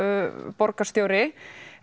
borgarstjóri